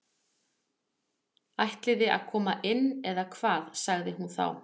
Ætliði að koma inn eða hvað sagði hún þá.